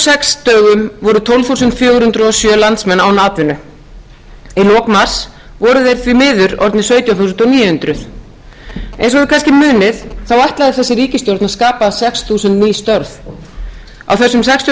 sex dögum voru tólf þúsund fjögur hundruð og sjö landsmenn án atvinnu í lok mars voru þeir því miður orðnir sautján þúsund níu hundruð eins og þið kannski munið ætlaði þessi ríkisstjórn að skapa sex þúsund ný störf á þessum sextíu og